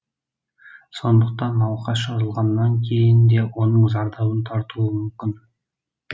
сондықтан науқас жазылғаннан кейін де оның зардабын тартуы мүмкін